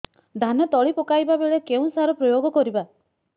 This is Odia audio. ଧାନ ତଳି ପକାଇବା ବେଳେ କେଉଁ ସାର ପ୍ରୟୋଗ କରିବା